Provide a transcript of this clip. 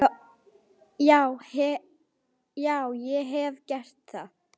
Já, ég hef gert það.